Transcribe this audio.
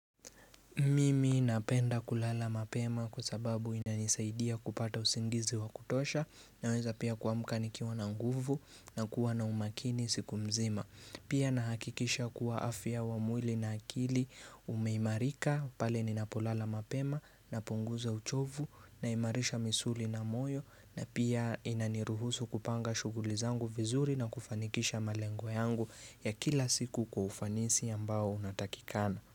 Mimi napenda kulala mapema kwa sababu inanisaidia kupata usingizi wa kutosha, naweza pia kuamka nikiwa na nguvu, na kuwa na umakini siku mzima. Pia nahakikisha kuwa afya wa mwili na akili umeimarika, pale ninapolala mapema, napunguza uchovu, naimarisha misuli na moyo, na pia inaniruhusu kupanga shughuli zangu vizuri na kufanikisha malengo yangu ya kila siku kwa ufanisi ambao unatakikana.